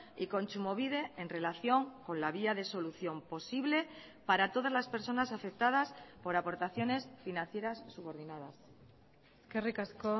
y kontsumobide en relación con la vía de solución posible para todas las personas afectadas por aportaciones financieras subordinadas eskerrik asko